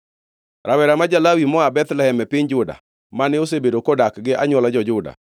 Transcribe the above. Rawera ma ja-Lawi moa Bethlehem e piny Juda, mane osebedo kodak gi anywola jo-Juda,